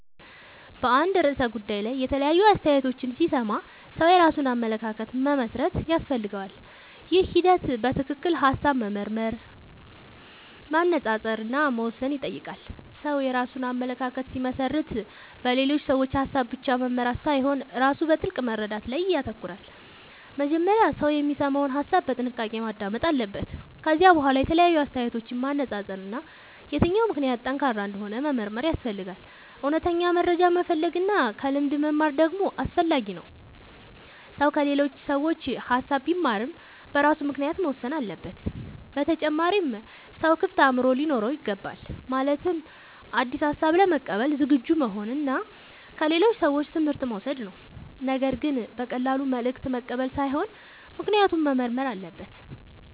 በአንድ ርዕሰ ጉዳይ ላይ የተለያዩ አስተያየቶችን ሲሰማ ሰው የራሱን አመለካከት መመስረት ያስፈልገዋል። ይህ ሂደት በትክክል ሐሳብ መመርመር፣ መነጻጸር እና መወሰን ይጠይቃል። ሰው የራሱን አመለካከት ሲመሰርት በሌሎች ሰዎች ሐሳብ ብቻ መመራት ሳይሆን ራሱ በጥልቅ መረዳት ላይ ይተኮራል። መጀመሪያ ሰው የሚሰማውን ሐሳብ በጥንቃቄ ማዳመጥ አለበት። ከዚያ በኋላ የተለያዩ አስተያየቶችን ማነጻጸር እና የትኛው ምክንያት ጠንካራ እንደሆነ መመርመር ያስፈልጋል። እውነተኛ መረጃ መፈለግ እና ከልምድ መማር ደግሞ አስፈላጊ ነው። ሰው ከሌሎች ሰዎች ሐሳብ ቢማርም በራሱ ምክንያት መወሰን አለበት። በተጨማሪም ሰው ክፍት አእምሮ ሊኖረው ይገባል። ማለትም አዲስ ሐሳብ ለመቀበል ዝግጁ መሆን እና ከሌሎች ሰዎች ትምህርት መውሰድ ነው። ነገር ግን በቀላሉ መልእክት መቀበል ሳይሆን ምክንያቱን መመርመር አለበት።